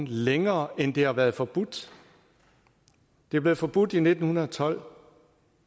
længere end det har været forbudt det blev forbudt i nitten tolv og